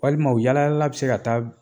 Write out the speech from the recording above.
Walima u yaalayaalala bɛ se ka taa